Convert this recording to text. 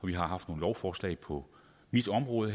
vi har haft nogle lovforslag på mit område